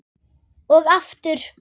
Og aftur.